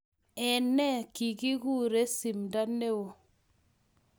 Eng ne kikikure Simdo ne o.